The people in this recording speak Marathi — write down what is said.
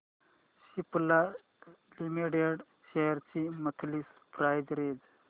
सिप्ला लिमिटेड शेअर्स ची मंथली प्राइस रेंज